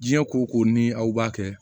Diɲɛ koko ni aw kɛ